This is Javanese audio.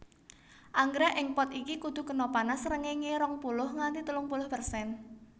Anggrèk ing pot iki kudu kena panas srengéngé rong puluh nganti telung puluh persen